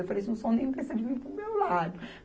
Eu falei, não são nem bestas de vir para o meu lado.